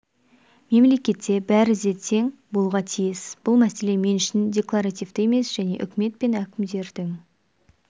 мемлекетте бәрі де тең болуға тиіс бұл мәселе мен үшін декларативті емес мен үкімет пен әкімдердің